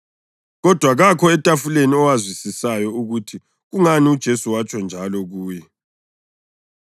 Kodwa kakho etafuleni owazwisisayo ukuthi kungani uJesu watsho njalo kuye.